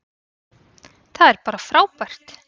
Það er bara frábært.